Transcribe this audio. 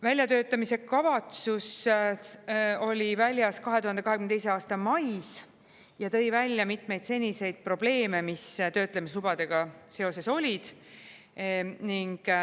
Väljatöötamiskavatsus oli väljas 2022. aasta mais ja tõi välja mitmeid seniseid probleeme, mis töötlemislubadega seoses olid.